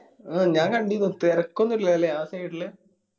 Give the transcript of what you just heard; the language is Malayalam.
അഹ് ഞാൻ കണ്ടിനു തെരക്കൊന്നില്ല ല്ലേ ആ side ല്